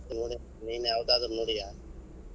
ಇಲ್ಲ ಲೇ ನಿನ್ ಯಾವದಾದ್ರೂ ನೋಡಿಯಾ?